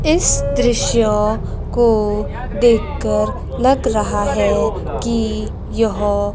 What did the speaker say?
इस दृश्य को देखकर लग रहा है की यह--